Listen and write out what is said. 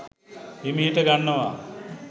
හිමිහිට ගන්නවා